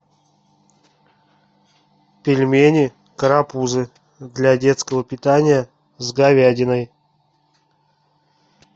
пельмени карапузы для детского питания с говядиной